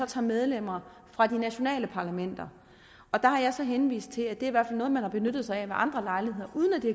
tager medlemmer fra de nationale parlamenter der har jeg så henvist til at det fald er noget man har benyttet sig af ved andre lejligheder uden at det